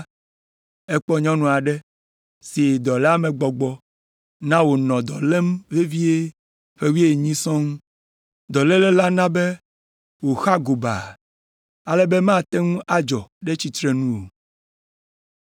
ekpɔ nyɔnu aɖe si dɔléamegbɔgbɔ na wònɔ dɔ lém vevie ƒe wuienyi sɔŋ. Dɔléle la na be wòxa gobaa, ale be mate ŋu adzɔ ɖe tsitrenu o.